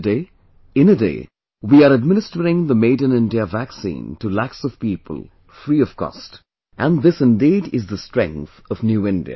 Today, in a day, we are administering the Made in India vaccine to lakhs of people, free of cost...and this indeed is the strength of New India